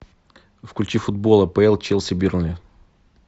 включи футбол апл челси бернли